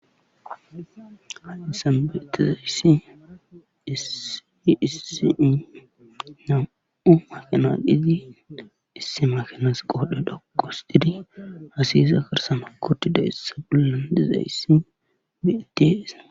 Haysan Beetaayssi hiissii nam7u makanal7izi isse makanas qoodhe dhoqos didi hasiyisa karsama kotida issa bullen dizayssi biyatiesa